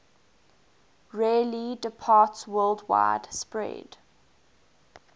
rarely departsworldwide spread